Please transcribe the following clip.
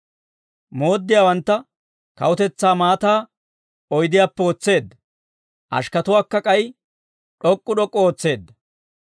Mooddiyaawantta kawutetsaa maataa oydiyaappe wotseedda; ashikkatuwaakka k'ay d'ok'k'u d'ok'k'u ootseedda.